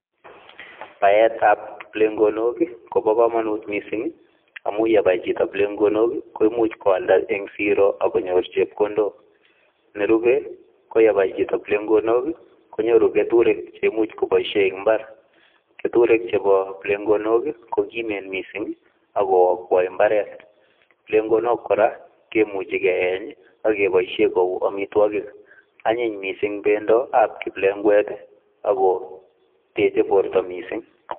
Baetab plegok kobo komonut mising' amun ye bai chito plegok koimuch koalda en siro ak konyor chepkondok. Nerube koyebai chito plegok konyoru keturek che imuch koboisie en mbar. Keturek chebo plegok kokimen mising' ago akwai mbaret. Plegok kora kimuchi keyeny ak keboishen kou amitwogik anyiny mising' bendap kiplekwet ago teche borto mising'.